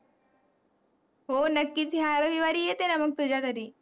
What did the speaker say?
हो नक्कीच, या रविवारी येते ना मग तुझ्या घरी.